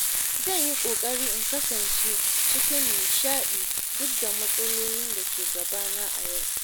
Zan yi ƙoƙari in kasance cikin nishaɗi duk da matsalolin da ke gabana a yau.